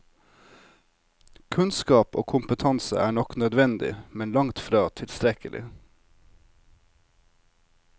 Kunnskap og kompetanse er nok nødvendig, men langt fra tilstrekkelig.